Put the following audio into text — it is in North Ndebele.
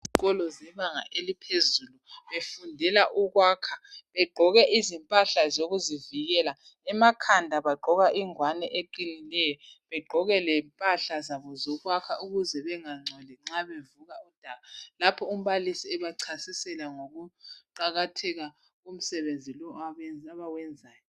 Izikolo zebanga eliphezulu befundela ukwakha. Begqoke izimpahla zokuzivikela. Emakhanda bagqoka ingwane eqinileyo, begqoke lempahla zabo zokwakha ukuze bengangcoli nxa bevuba udaka lapho umbalisi ebachasisela ngokuqakatheka komsebenzi lo abe abawenzayo.